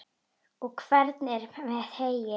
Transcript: Og hvernig er með heyið?